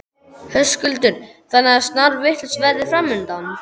Höskuldur: Þannig að snarvitlaust veður framundan?